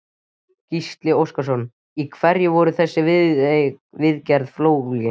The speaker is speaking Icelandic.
Gísli Óskarsson: Í hverju verður þessi viðgerð fólgin?